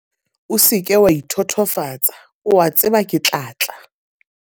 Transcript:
O se ke wa ithotofatsa, o a tseba ke tla tla!